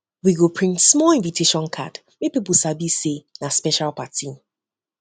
we go print small invitation card make people sabi say na special party